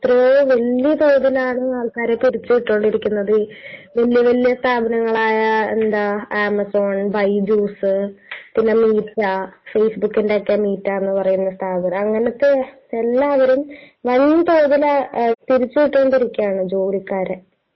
...എത്രയോ വല്യ തോതിലാണ് ആൾക്കാരെ പിരിച്ചുവിട്ടുകൊണ്ടിരിക്കുന്നത്. വല്യവല്യ സ്ഥാപനങ്ങളായ...എന്താ... ആമസോൺ, ബൈജൂസ്, പിന്നെ മീറ്റ....ഫേസ്ബുക്ക് ന്റെയൊക്കെ മീറ്റാന്നു പറയുന്ന സ്ഥാപനം...അങ്ങനത്തെ എല്ലാവരും വൻതോതിൽ പിരിച്ചുവിട്ടുകൊണ്ടിരിക്കുകയാണ് ജോലിക്കാരെ..